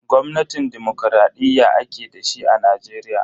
Gwamnatin dimokuraɗiyya ake dashi a Najeriya.